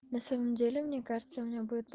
на самом деле мне кажется у меня будет